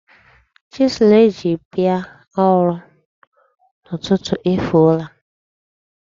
Chisụl e ji bia ọrụ n'ụtụtụ efuola.